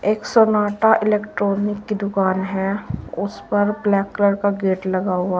एक Sonata electronic की दुकान है उस पर ब्लैक कलर का गेट लगा हुआ--